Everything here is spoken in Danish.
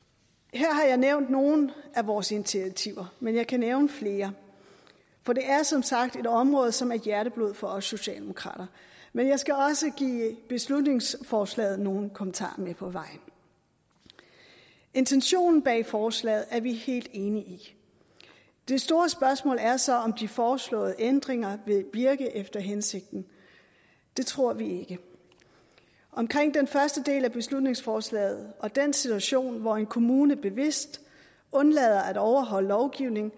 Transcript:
her har jeg nævnt nogle af vores initiativer men jeg kan nævne flere for det er som sagt et område som er hjerteblod for os socialdemokrater men jeg skal også give beslutningsforslaget nogle kommentarer med på vejen intentionen bag forslaget er vi helt enige i det store spørgsmål er så om de foreslåede ændringer vil virke efter hensigten det tror vi ikke om den første del af beslutningsforslaget og den situation hvor en kommune bevidst undlader at overholde lovgivningen